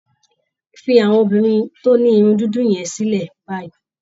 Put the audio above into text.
Fi àwọn obìnrin tó ní irun dúdú yẹn sílẹ̀ báyìí